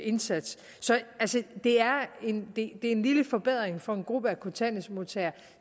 indsats det er en lille forbedring for en gruppe af kontanthjælpsmodtagere